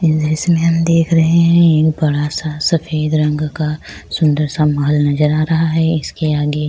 یہ دریشی مے ہم دیکھ رہے ہے۔ بڑا سا سفید رنگ کا سندر سا محل نظر آ رہا ہے۔ اسکے آگے--